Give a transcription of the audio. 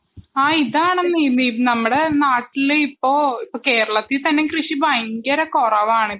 ആ യിതാണെന്നേ നമ്മുടെ നാട്ടില് ഇപ്പോ കേരളത്തിൽ തന്നെ കൃഷി വളരെ കുറവാണിപ്പോൾ